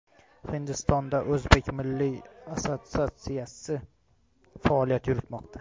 Hindistonda o‘zbek milliy kurashi assotsiatsiyasi faoliyat yuritmoqda.